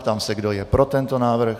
Ptám se, kdo je pro tento návrh.